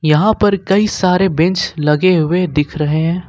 यहां पर कई सारे बेंच लगे हुए दिख रहे हैं।